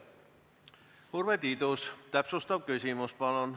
Urve Tiidus, täpsustav küsimus, palun!